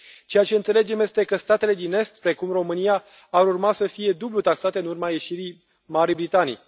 Ceea ce înțelegem este că statele din est, precum România, ar urma să fie dublu taxate în urma ieșirii Marii Britanii.